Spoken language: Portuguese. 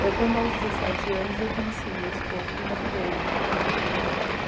Foi quando aos dezessete anos eu conheci o meu esposo e engravidei.